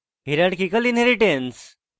hierarchical inheritance